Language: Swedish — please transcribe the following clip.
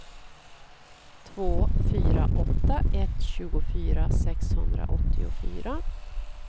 två fyra åtta ett tjugofyra sexhundraåttiofyra